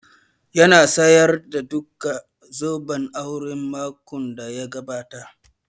Ya sayarda duka zobban aure makon da ya gabata